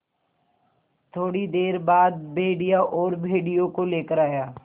थोड़ी देर बाद भेड़िया और भेड़ियों को लेकर आया